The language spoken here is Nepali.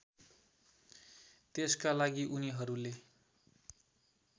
त्यसका लागि उनीहरूले